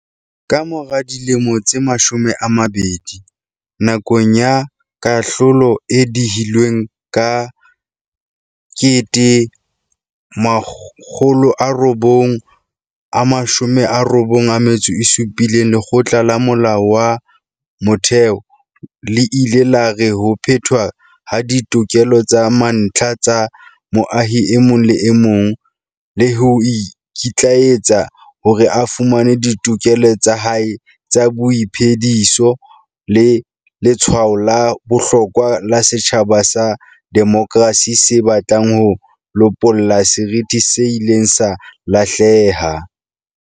Ka mora dilemo tse mashome a mabedi, nakong ya kahlolo e dihilweng ka 1997, Lekgotla la Molao wa Motheo le ile la re ho phethwa ha ditokelo tsa mantlha tsa moahi e mong le e mong, le ho ikitlaeletsa hore a fumane ditokelo tsa hae tsa boiphe-diso ke letshwao la bohlokwa la setjhaba sa demokrasi se batlang ho lopolla seriti se ileng sa lahleha.